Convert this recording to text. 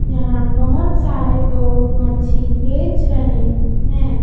यहां बहुत सारे लोग मच्छी बेच रहे हैं।